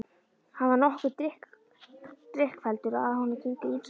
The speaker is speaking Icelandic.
Hann var nokkuð drykkfelldur og af honum gengu ýmsar sögur.